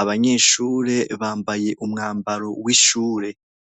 Abanyeshure bambaye umwambaro w’ishure.